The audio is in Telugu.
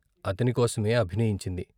అతని కోసమే అభినయించింది.